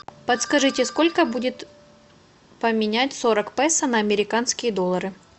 подскажите сколько будет поменять сорок песо на американские доллары